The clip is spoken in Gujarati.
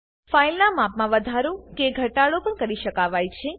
ફાઈલનાં માપમાં વધારો કે ઘટાડો પણ કરી શકાવાય છે